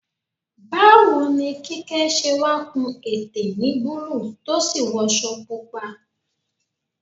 Báwo ni Kíkẹ́ ṣe wá kun ète ní búlúù tó sì wọṣọ pupa?